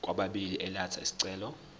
kwababili elatha isicelo